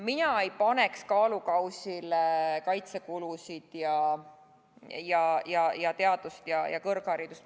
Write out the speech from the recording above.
Mina ei paneks kaalukausile kaitsekulusid ja teadust, kõrgharidust.